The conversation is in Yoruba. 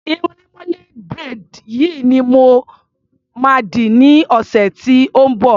Irun lemonade braid yìí ni mo ma dì ní ọ̀sẹ̀ tí ó ń bọ̀.